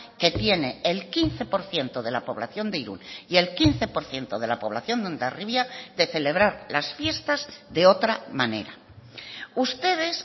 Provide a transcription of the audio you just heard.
que tiene el quince por ciento de la población de irún y el quince por ciento de la población de hondarribia de celebrar las fiestas de otra manera ustedes